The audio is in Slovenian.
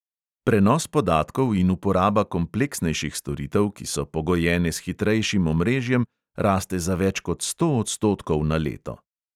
Prenos podatkov in uporaba kompleksnejših storitev, ki so pogojene s hitrejšim omrežjem, raste za več kot sto odstotkov na leto.